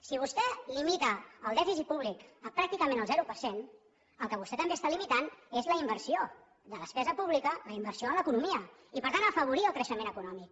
si vostè limita el dèficit públic a pràcticament el zero per cent el que vostè també està limitant és la inversió de despesa pública la inversió en l’economia i per tant afavorir el creixement econòmic